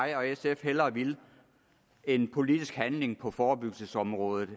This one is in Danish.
jeg og sf hellere ville end politisk handling på forebyggelsesområdet